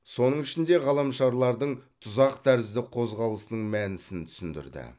соның ішінде ғаламшарлардың тұзақ тәрізді қозғалысының мәнісін түсіндірді